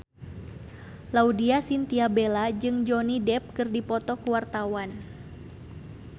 Laudya Chintya Bella jeung Johnny Depp keur dipoto ku wartawan